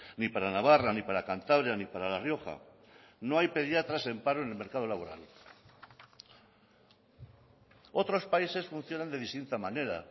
ni para navarra ni para cantabria ni para la rioja no hay pediatras en paro en el mercado laboral otros países funcionan de distinta manera